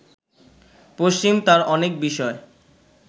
পশ্চিম তার অনেক বিষয়